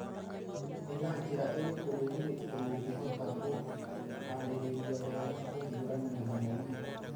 Nĩ na njĩra ĩrĩkũ rũrĩrĩ rũngĩhota kwĩhaarĩria wega kũhiũrania na mĩrimũ?